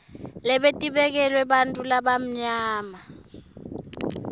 lebetibekelwe bantfu labamnyama